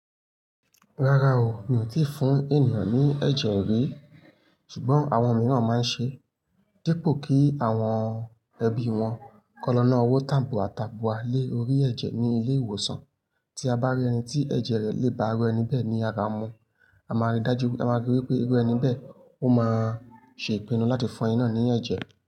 Rárá o, mi ò tí fún ènìyàn ní ẹ̀jẹ̀ rí, ṣùgbọ́n àwọn mìíràn máa ń ṣe é, dípò kí àwọn ẹbí wọn kan lọ́ nà owó tabua tabua lé orí ẹ̀jẹ̀ ní ilé ìwòsàn. Tí a bá rí ẹni tí ẹ̀jẹ̀ rẹ̀ lè bá irú ẹni bẹ́ẹ̀ ni ara mu, a máa rí dájú, a máa rí wípé irú ẹni bẹ́ẹ̀, ó máa ṣe ìpinnu láti fún ẹni náà ní ẹ̀jẹ̀